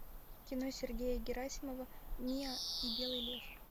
кино сергея герасимова миа и белый лев